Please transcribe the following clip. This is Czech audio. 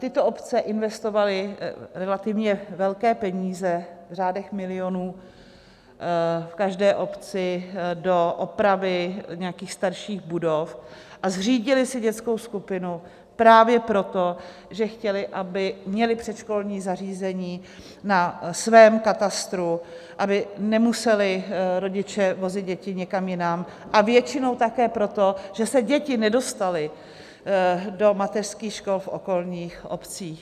Tyto obce investovaly relativně velké peníze v řádech milionů v každé obci do opravy nějakých starších budov a zřídily si dětskou skupinu právě proto, že chtěly, aby měly předškolní zařízení na svém katastru, aby nemuseli rodiče vozit děti někam jinam, a většinou také proto, že se děti nedostaly do mateřských škol v okolních obcích.